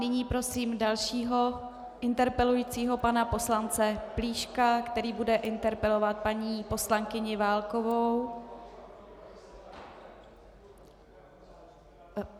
Nyní prosím dalšího interpelujícího, pana poslance Plíška, který bude interpelovat paní poslankyni Válkovou.